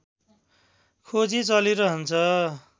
खोजी चलिरहन्छ